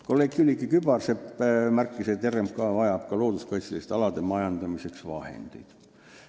Kolleeg Külliki Kübarsepp märkis, et RMK vajab ka looduskaitseliste alade majandamiseks vahendeid.